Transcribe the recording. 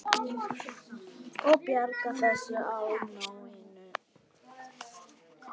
Ég bjargar þessu á nóinu.